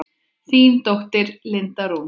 Þín dóttir, Linda Rún.